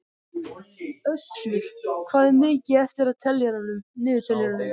Össur, hvað er mikið eftir af niðurteljaranum?